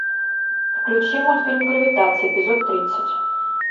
включи мультфильм гравитация эпизод тридцать